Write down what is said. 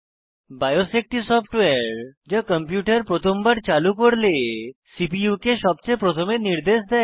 bias একটি software যা computer প্রথমবার চালু করলে সিপিইউ কে সবচেয়ে প্রথমে নির্দেশ দেয়